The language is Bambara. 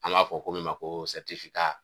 An m'a fɔ ko min ma ko sɛritifi